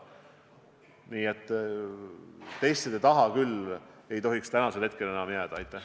Aga testide tegemise võimekuse taha küll ei tohiks praegu midagi jääda.